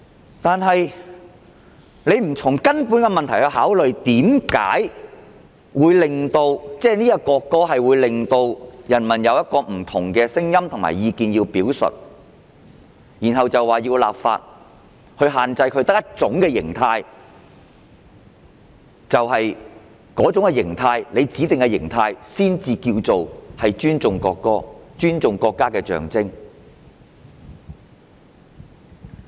可是，他們不從問題的根源考慮為何人民對這項《條例草案》有不同的聲音和意見，之後繼續立法，限制人民只能有一種形態，只有政府指定的形態才算是尊重國歌、尊重國家的象徵。